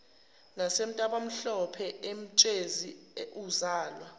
nasentabamhlophe emtshezi uzalwa